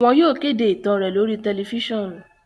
Wọn yóò kede itan rẹ lori tẹlifisiọnu